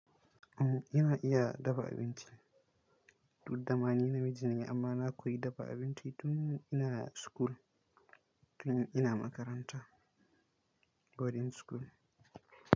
Umm, ina iya dafa abinci, dudda ma ni na mijina amma na koyi dafa abinci tun ina school, tun ina makaranta, boarding school.